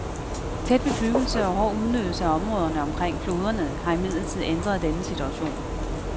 Tæt bebyggelse og hård udnyttelse af områderne omkring floderne har imidlertid ændret denne situation.